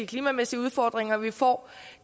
klimamæssige udfordringer man får